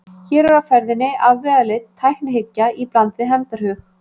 Hér er á ferðinni afvegaleidd tæknihyggja í bland við hefndarhug.